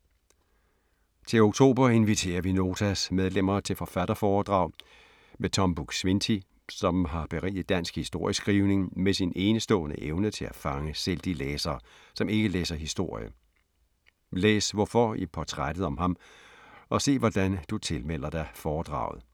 Til oktober inviterer vi Notas medlemmer til forfatterforedrag med Tom Buk-Swienty, som har beriget dansk historieskrivning med sin enestående evne til at fange selv de læsere, som ikke læser historie. Læs hvorfor i portrættet om ham og se hvordan du tilmelder dig foredraget.